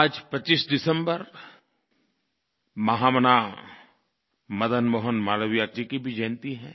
आज 25 दिसम्बर महामना मदन मोहन मालवीय जी की भी जयन्ती है